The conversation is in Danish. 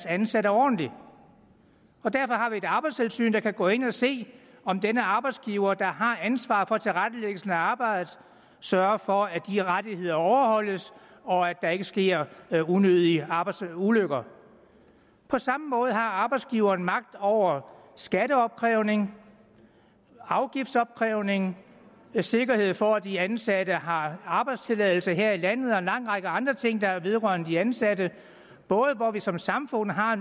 ansatte ordentligt og derfor har vi et arbejdstilsyn der kan gå ind og se om denne arbejdsgiver der har ansvaret for tilrettelæggelsen af arbejdet sørger for at de rettigheder overholdes og at der ikke sker unødige arbejdsulykker på samme måde har arbejdsgiveren magt over skatteopkrævning afgiftsopkrævning sikkerhed for at de ansatte har arbejdstilladelse her i landet og en lang række andre ting der vedrører de ansatte og hvor vi som samfund har